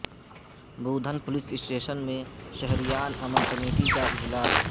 بودھن police station میں شہریان امن کمیٹی کا اجلاس